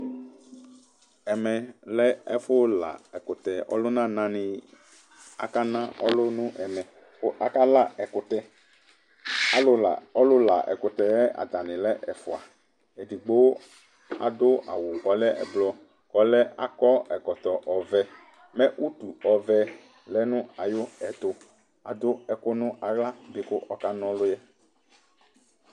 Ɛmɛ lɛ ɛfu laa ɛkutɛ ɔlʋnani akana ʋlʋ nʋ ɛmɛ kʋ akala ɛkutɛ AlʋlaƆlʋla ɛkʋtɛyɛ atani lɛ ɛfua eɖigbo aɖʋ awu k'ɔlɛ ɛblɔ ɔliɛ akɔ ɛkɔtɔ ɔvɛ mɛ ʋtu ɔvɛ lɛ nʋ ayɛtʋ aɖʋ ɛkʋ n'aɣla bikʋ ɔkana ʋluɛ